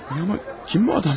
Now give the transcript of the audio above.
Ay ama kim bu adam?